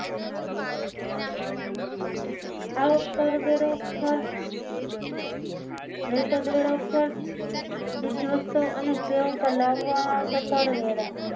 આવક કરવેરો ખર્ચ મહિસદવેરો ખર્ચ ચીજ વસ્તુઓ અને સેવા પર લાગવામાં આવતો કરવેરા